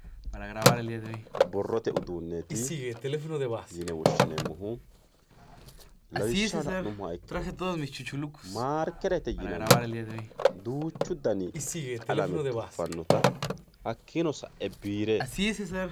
borrote uduuneeti yine woshshineemohu lawishshaho la, numoha ikkiro maarkerete yinanniti duuchu dani qalame tuffannota hakiino sa'e biire.